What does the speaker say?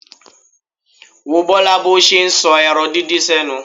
Wo Bọ́lá bó ṣe ń sọ ẹran díndín sẹ́nu.